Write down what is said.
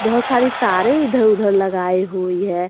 बहोत सारी तारे इधर उधर लगाए हुई है।